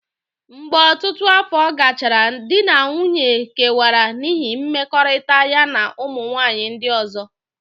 Mgbe ọtụtụ afọ gachara, di na nwunye kewara n'ihi mmekọrịta ya na ụmụ nwanyị ndị ọzọ.